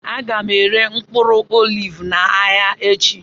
Aga m ere mkpụrụ oliv n'ahịa echi